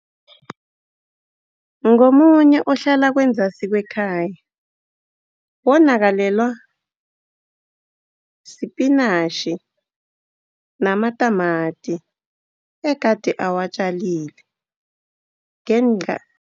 Ngomunye ohlala kwenzasi kwekhaya, wonakalelwa sipinatjhi namatamati egade awatjalile ngenca